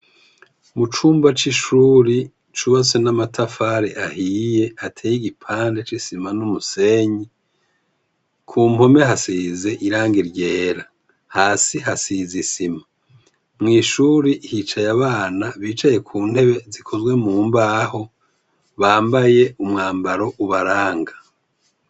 Mucumba c’ishure cubatse n’amatafari ahiye ateye iruhande c’isima n’umusenyi, kumpome hasize irangi ryera hasi hasize isima, mw’ishure hicaye abana bicaye ku ntebe zikozwe mu mbaho bambaye umwambaro ubaranga.